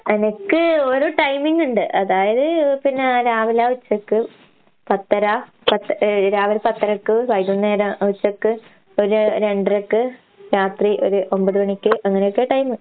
എനക്ക് ഓരോ ടൈമിങ്ങിണ്ട്, അതായത് പിന്നാ രാവിലാ, ഉച്ചക്ക്. പത്തര പത്ത് ഏഹ് രാവിലെ പത്തരയ്ക്ക്, വൈകുന്നേര ഉച്ചക്ക് ഒരു രണ്ടരയ്ക്ക്, രാത്രി ഒരു ഒമ്പത് മണിക്ക്. അങ്ങനോക്കെ ടൈമ്.